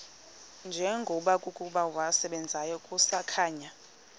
njengokuba wasebenzayo kusakhanya